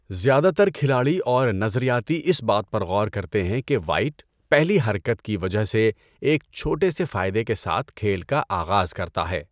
زیادہ تر کھلاڑی اور نظریاتی اس بات پر غور کرتے ہیں کہ وائٹ، پہلی حرکت کی وجہ سے، ایک چھوٹے سے فائدے کے ساتھ کھیل کا آغاز کرتا ہے۔